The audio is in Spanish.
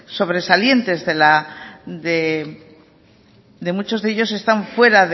sobresalientes de la de muchos de ellos están fuera